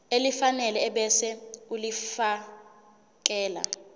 elifanele ebese ulifiakela